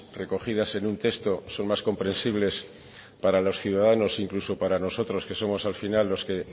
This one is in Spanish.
recogidas en un texto son más comprensibles para los ciudadanos incluso para nosotros que somos al final los que